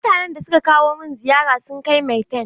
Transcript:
Mutanen da suka kawo min ziyara sun kai maitan.